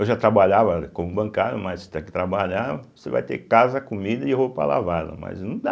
Eu já trabalhava como bancário, mas tem que trabalhar, você vai ter casa, comida e roupa lavada, mas não dá.